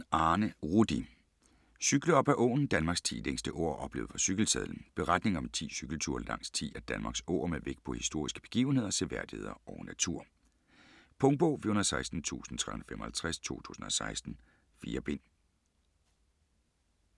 Jensen, Arne Rudi: Cykle op ad åen: Danmarks 10 længste åer oplevet fra cykelsadlen Beretning om 10 cykelture langs 10 af Danmarks åer med vægt på historiske begivenheder, seværdigheder og natur. Punktbog 416355 2016. 4 bind.